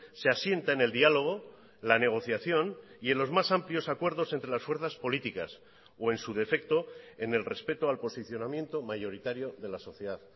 se asiente en el diálogo la negociación y en los más amplios acuerdos entre las fuerzas políticas o en su defecto en el respeto al posicionamiento mayoritario de la sociedad